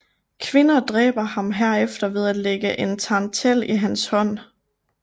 Kvinder dræber ham herefter ved at lægge en tarantel i hans hånd